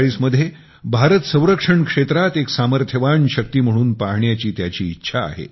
2047 मध्ये भारत संरक्षण क्षेत्रात एक सामर्थ्यवान शक्ती म्हणून पाहण्याची त्याची इच्छा आहे